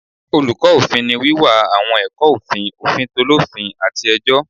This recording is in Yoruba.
Oluko ofin ni wiwa awọn ẹkọ ofin, ofin t’olofin, ati ẹjọ